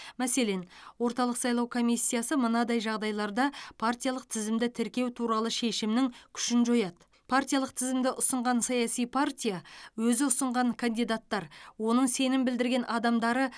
мәселен орталық сайлау комиссиясы мынадай жағдайларда партиялық тізімді тіркеу туралы шешімнің күшін жояды партиялық тізімді ұсынған саяси партия өзі ұсынған кандидаттар оның сенім білдірген адамдары